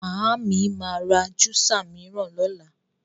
Màámi ma ra júsà míràn lọ́la.